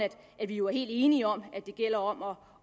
at vi jo er helt enige om at det gælder om at